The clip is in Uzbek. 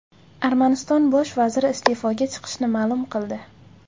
Armaniston bosh vaziri iste’foga chiqishini ma’lum qildi .